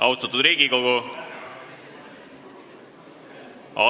Austatud Riigikogu!